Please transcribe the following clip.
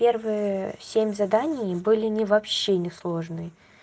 первые семь заданий были они вообще несложные